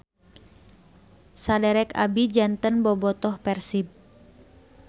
Saderek abi janten bobotoh Persib